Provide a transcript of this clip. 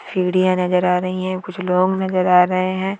सीढ़ियाँ नज़र आ रही हैं कुछ लोग नज़र आ रहे हैं।